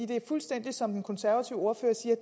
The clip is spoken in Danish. det er fuldstændig som den konservative ordfører siger